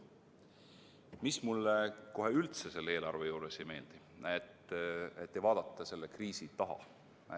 Mis mulle kohe üldse selle eelarve juures ei meeldi, on see, et ei vaadata selle kriisi taha.